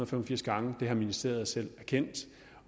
fem og firs gange det har ministeriet selv erkendt